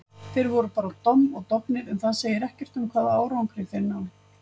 Þeir voru bara domm og dofnir, en það segir ekkert um hvaða árangri þeir ná.